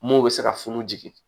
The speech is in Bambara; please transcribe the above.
Mɔw bɛ se ka funu